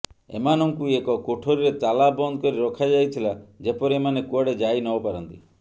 ଏମାନଙ୍କୁ ଏକ କୋଠରୀରେ ତାଲା ବନ୍ଦ କରି ରଖାଯାଇଥିଲା ଯେପରି ଏମାନେ କୁଆଡେ ଯାଇନପାରନ୍ତି